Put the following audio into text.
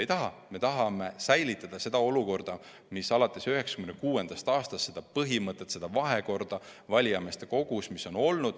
Ei taha – me tahame säilitada seda olukorda, mis alates 1996. aastast on olnud, seda põhimõtet, seda vahekorda valijameeste kogus, mis on olnud.